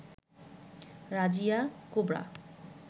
Razia cobra